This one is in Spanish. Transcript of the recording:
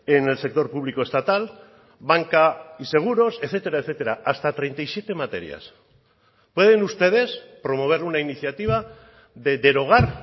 en el sector público estatal banca y seguros etcétera etcétera hasta treinta y siete materias pueden ustedes promover una iniciativa de derogar